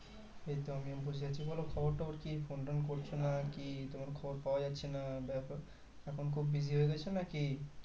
এই তো আমিও বসে আছি বলো খবর টবর কি phone টোন করছোনা কি তোমার খবর পাওয়া যাচ্ছে না ব্যাপার এখন খুবই busy হয়ে গেছো নাকি?